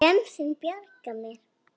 Gemsinn bjargar mér.